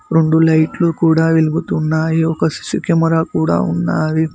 రెండు లైట్లు కూడా వెలుగుతున్నాయి ఒక సీ_సీ కెమెరా కూడా ఉన్నావి.